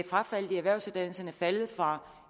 frafaldet på erhvervsuddannelserne er faldet fra